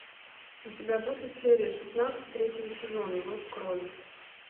у тебя будет серия шестнадцать третьего сезона зов крови